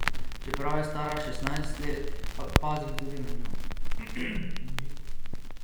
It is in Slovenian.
Čeprav je stara šestnajst let, pazim tudi nanjo.